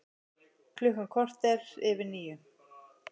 Klukkan korter yfir níu